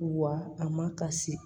Wa a man kasi